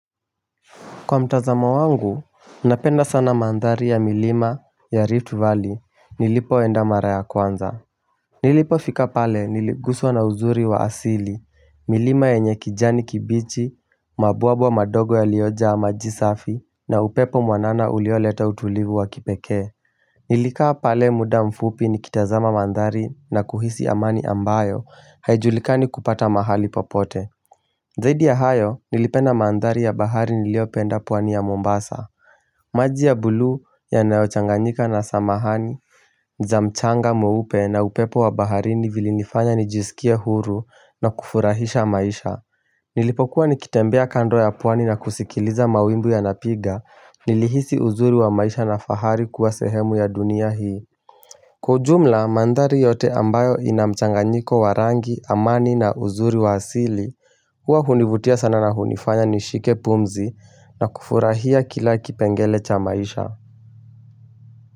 Kwa mtazamo wangu, napenda sana mandhari ya milima ya Rift Valley nilipo enda mara ya kwanza Nilipo fika pale niliguswa na uzuri wa asili, milima yenye kijani kibichi, mabwawa madogo yaliojaa maji safi, na upepo mwanana uliole ta utulivu wa kipekee Nilikaa pale muda mfupi nikitazama mandhari na kuhisi amani ambayo haijulikani kupata mahali popote Zaidi ya hayo nilipenda mandhari ya bahari niliyopenda pwani ya Mombasa. Maji ya bulu yanaochanganyika na samahani za mchanga mweupe na upepo wa baharini vilinifanya nijisikie huru na kufurahisha maisha Nilipokuwa nikitembea kando ya pwani na kusikiliza mawimbi yanapiga, Nilihisi uzuri wa maisha na fahari kuwa sehemu ya dunia hii Kwa ujumla, mandhari yote ambayo ina mchanganyiko wa rangi, amani, na uzuri wa asili Huwa hunivutia sana na hunifanya nishike pumzi, na kufurahia kila kipengele cha maisha.